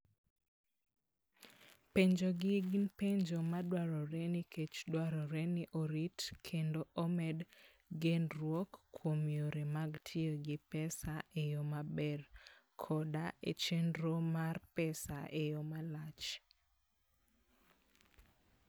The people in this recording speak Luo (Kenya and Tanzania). Penjogi gin penjo madwarore nikech dwarore ni orit kendo omed genruok kuom yore mag tiyo gi pesa e yo maber, koda e chenro mar pesa e yo malach.